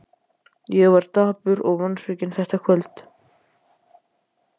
Ég var dapur og vonsvikinn þetta kvöld.